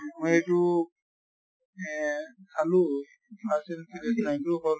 মই এইটো চালো fast and furious nine তো হʼল